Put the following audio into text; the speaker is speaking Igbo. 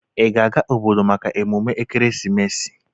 Ị ga-aga obodo maka emume Ekeresimesi?